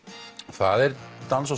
það er dans og